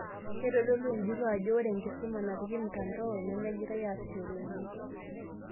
Keitodolu enjurro ajo ore enkisuma napiki mtandao nemegirai aasishore oleng'.